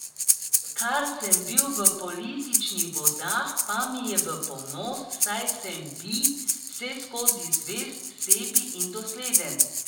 Kar sem bil v političnih vodah, pa mi je v ponos, saj sem bi vseskozi zvest sebi in dosleden.